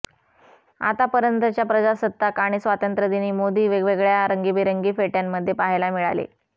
आत्तापर्यंतच्या प्रजासत्ताक आणि स्वातंत्र्य दिनी मोदी वेगवेगळ्या रंगीबेरंगी फेट्यांमध्ये पाहायला मिळाले